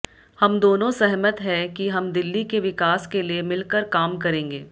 हम दोनों सहमत है कि हम दिल्ली के विकास के लिए मिलकर काम करेंगे